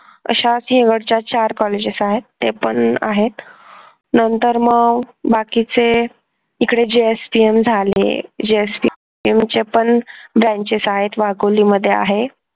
अश्या सिंहगडच्या चार कॉलेजेस आहेत ते पण आहेत नंतर मग बाकीचे इकडे JSPM झाले JSPM च्या पण branches आहेत वाकोली मध्ये आहे